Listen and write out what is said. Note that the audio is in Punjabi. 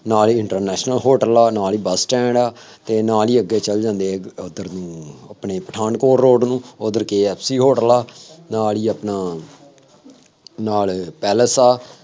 ਨਾਲ ਹੀ ਇੰਟਰਨੈਸ਼ਨਲ ਹੋਟਲ ਆ, ਨਾਲ ਹੀ ਬੱਸ ਸਟੈਂਡ ਆ ਅਤੇ ਨਾਲ ਹੀ ਅੱਗੇ ਚੱਲ ਜਾਂਦੇ ਹੈ ਜਿਦਾਂ ਉੱਧਰ ਨੂੰ ਆਪਣੇ ਪਠਾਨਕੋਟ ਰੋਡ ਨੂੰ, ਉੱਧਰ KFC ਹੋਟਲ ਆ, ਨਾਲ ਹੀ ਆਪਣਾ ਨਾਲ ਪੇਲੈਸ ਆ,